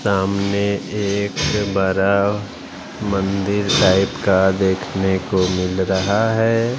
सामने एक बड़ा मंदिर टाइप का देखने को मिल रहा है।